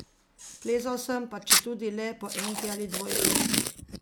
Plezal sem, pa četudi le po enki ali dvojki.